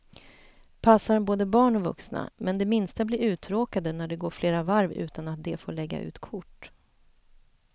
Passar både barn och vuxna, men de minsta blir uttråkade när det går flera varv utan att de får lägga ut kort.